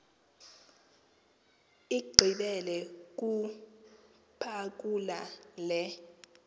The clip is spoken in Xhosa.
igqibile ukuphakula le